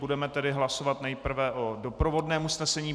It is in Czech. Budeme tedy hlasovat nejprve o doprovodném usnesení.